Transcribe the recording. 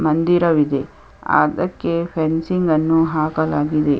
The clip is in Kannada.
ಮಂದಿರ ಇದೆ ಅದ್ದಕ್ಕೆ ಫೆನ್ಸಿಂಗ್ ಅನ್ನು ಹಾಕಲಾಗಿದೆ.